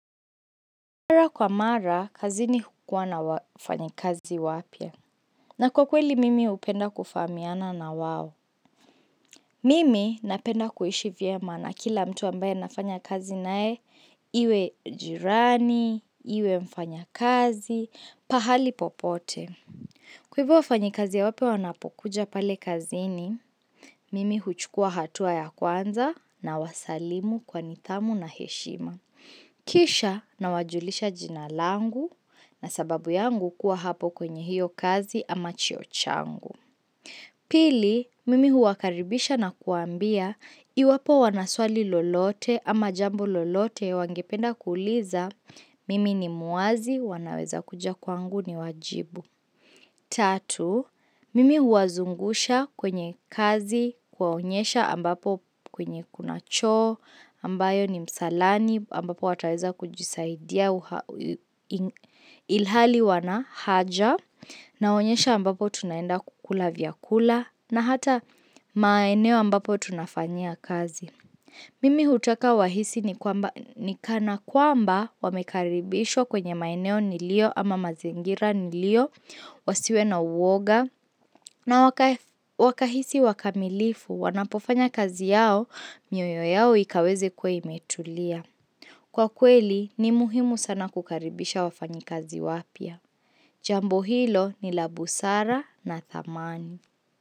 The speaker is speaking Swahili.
Kwa mara, kazini hukua na wafanyikazi wapya. Na kwa kweli, mimi hupenda kufahamiana na wao. Mimi napenda kuishi vyema na kila mtu ambaye nafanya kazi nae. Iwe jirani, iwe mfanyakazi, pahali popote. Kwa hivyo wafanyikazi ya wapya wanapokuja pale kazini, Mimi huchukua hatua ya kwanza nawasalimu kwa nidhamu na heshima. Kisha nawajulisha jina langu. Na sababu yangu kuwa hapo kwenye hiyo kazi ama cheo changu. Pili, mimi huwakaribisha na kuwaambia iwapo wana swali lolote ama jambo lolote wangependa kuuliza mimi ni mwazi wanaweza kuja kwangu niwajibu. Tatu, mimi huwazungusha kwenye kazi, kuwaonyesha ambapo kwenye kuna choo, ambayo ni msalani, ambapo wataweza kujisaidia ilhali wana haja, naonyesha ambapo tunaenda kukula vyakula, na hata maeneo ambapo tunafanyia kazi. Mimi hutaka wahisi ni kana kwamba wamekaribishwa kwenye maeneo niliyo ama mazingira niliyo wasiwe na uoga na wakahisi wakamilifu wanapofanya kazi yao mioyo yao ikaweze kuwa imetulia. Kwa kweli ni muhimu sana kukaribisha wafanyikazi wapya. Jambo hilo ni la busara na thamani.